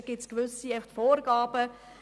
Dafür gelten bestimmte Vorgaben.